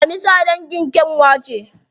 Daminsa dangin kyanwa ce.